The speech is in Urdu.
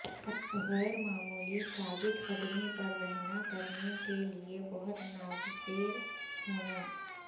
غیر معمولی ثابت قدمی پر رہنا کرنے کے لئے بہت ناگزیر ہونا